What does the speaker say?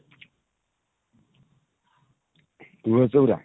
ତୁଲସୀ ଚଉରା